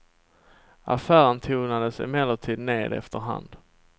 Affären tonades emellertid ned efter hand.